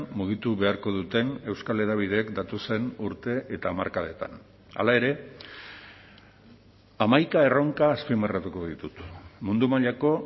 mugitu beharko duten euskal hedabideek datozen urte eta hamarkadetan hala ere hamaika erronka azpimarratuko ditut mundu mailako